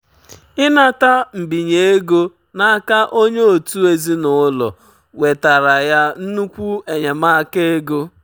ịnata mbinye ego n'aka onye otu ezinụlọ wetara ya nnukwu enyemaka ego.